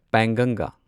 ꯄꯦꯡꯒꯪꯒꯥ